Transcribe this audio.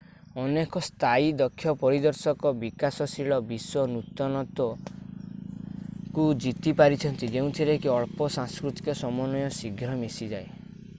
ଅନେକ ସ୍ଥାୟୀ ଦକ୍ଷ ପରିଦର୍ଶକ ବିକାଶଶୀଳ ବିଶ୍ଵ ନୂତନତ୍ତ୍ଵ କୁ ଜିତି ପାରିଛନ୍ତି ଯେଉଁଥିରେ କି ଅଳ୍ପ ସାଂସ୍କୃତିକ ସମନ୍ଵୟ ଶୀଘ୍ର ମିଶିଯାଏ